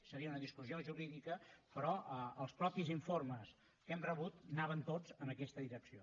seria una discussió jurídica però els mateixos informes que hem rebut anaven tots en aquesta direcció